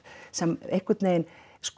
sem einhvern veginn